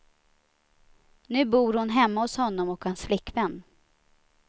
Nu bor hon hemma hos honom och hans flickvän.